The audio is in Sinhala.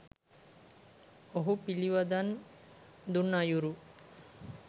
ඔහු පිළිවදන් දුන් අයුරු